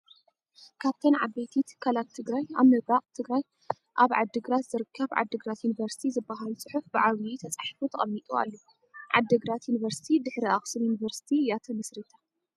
ካብቶን ዓበይቲ ትካላት ትግራይ ኣብ ምብራቅ ትግራይ ኣብ ዓዲ ግራት ዝርከብ ዓዲግራት ዩኒቨርስቲ ዝብል ፅሑፍ ብዓብዩ ተፃሒፉ ተቀሚጡ ኣሎ። ዓዲ ግራት ዩቨርስቲ ድሕሪ ኣክሱም ዩቨርስቲ እያ ተመስሪታ